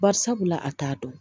Bari sabula a t'a dɔn